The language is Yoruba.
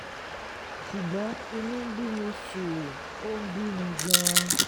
ṣùgbọ́n inú ń bí mi ṣùù ó ń bí mi gan-an